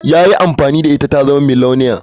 Ya yi amfani da ita ta zama miliyoniya.